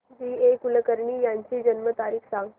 जी A Kulkarni यांची जन्म तारीख सांग